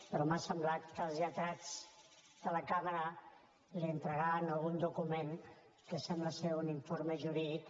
però m’ha semblat que els lletrats de la cambra li entregaven algun document que sembla que és un informe jurídic